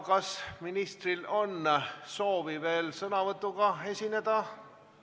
Kas ministril on soovi veel sõnavõtuga esineda?